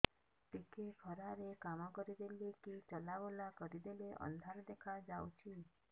ଟିକେ ଖରା ରେ କାମ କରିଦେଲେ କି ଚଲବୁଲା କରିଦେଲେ ଅନ୍ଧାର ଦେଖା ହଉଚି